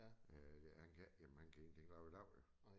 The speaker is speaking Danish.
Øh han kan ikke jamen han kan ingenting lave i dag jo